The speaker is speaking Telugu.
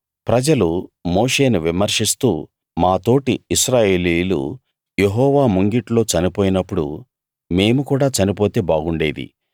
ప్రజలు మోషేను విమర్శిస్తూ మా తోటి ఇశ్రాయేలీయులు యెహోవా ముంగిట్లో చనిపోయినప్పుడు మేము కూడా చనిపోతే బాగుండేది